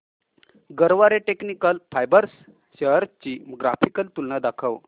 Garware technical fibres shares ची graphical तुलना दाखव